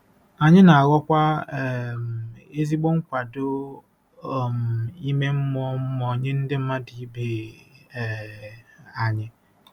Anyị na-aghọkwa um ezigbo nkwado um ime mmụọ mmụọ nye ndị mmadụ ibe um anyị.